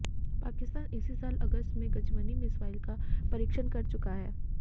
पाकिस्तान इसी साल अगस्त में गजनवी मिसाइल का परीक्षण कर चुका है